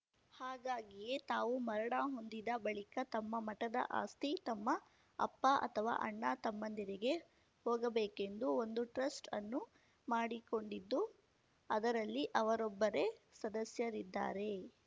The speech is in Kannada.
ಹಾಗಾಗಿಯೇ ತಾವು ಮರಣ ಹೊಂದಿದ ಬಳಿಕ ತಮ್ಮ ಮಠದ ಆಸ್ತಿ ತಮ್ಮ ಅಪ್ಪ ಅಥವಾ ಅಣ್ಣ ತಮ್ಮಂದಿರಿಗೆ ಹೋಗಬೇಕೆಂದು ಒಂದು ಟ್ರಸ್ಟ್ ಅನ್ನು ಮಾಡಿಕೊಂಡಿದ್ದು ಅದರಲ್ಲಿ ಅವರೊಬ್ಬರೆ ಸದಸ್ಯರಿದ್ದಾರೆ